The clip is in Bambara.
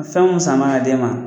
Nin fɛn minnu sana ka d'e ma.